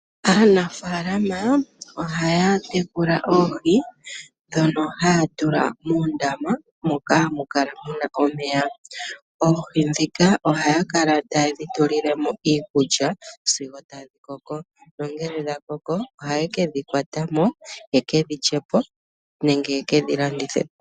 Aanafaalama ohaya tekula oohi ndhono haya tula muundama moka hamu kala mu na omeya. Oohi ndhika ohaye dhi tulile mo iikulya e tadhi koko. Ngele dha koko ohaye dhi kwata mo , ye ke dhi lye po nenge ye ke dhi landithe po.